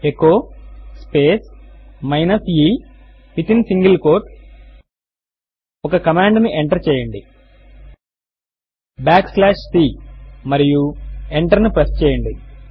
echo space minus e within single quote ఒక command ను enter చేయండి బ్యాక్ స్లాష్ c మరియు ఎంటర్ ను ప్రెస్ చేయండి